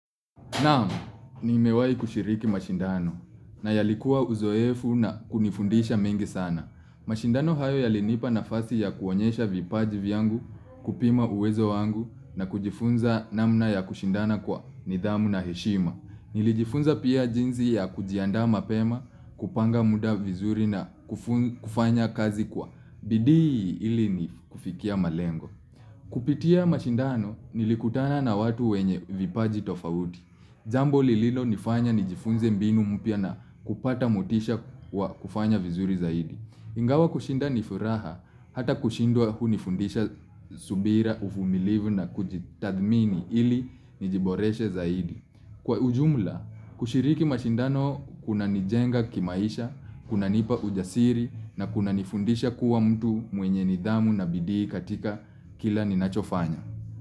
Naam, nimewai kushiriki mashindano na yalikuwa uzoefu na kunifundisha mengi sana. Mashindano hayo yalinipa nafasi ya kuonyesha vipaji vyangu kupima uwezo wangu na kujifunza namna ya kushindana kwa nidhamu na heshima. Nilijifunza pia jinsi ya kujiandaa mapema, kupanga muda vizuri na kufanya kazi kwa. Bidii ili ni kufikia malengo. Kupitia mashindano nilikutana na watu wenye vipaji tofauti. Jambo lililonifanya nijifunze mbinu mupya na kupata motisha wa kufanya vizuri zaidi. Ingawa kushinda nifuraha hata kushindwa hunifundisha subira uvumilivu na kujitathmini ili nijiboreshe zaidi. Kwa ujumla, kushiriki mashindano kunanijenga kimaisha, kuna nipa ujasiri na kuna nifundisha kuwa mtu mwenye nidhamu na bidii katika kila ninachofanya.